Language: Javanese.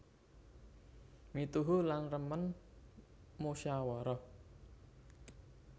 Mituhu lan remen musyawarah